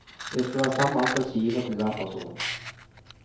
Det skal være samme antall skiver til hver person.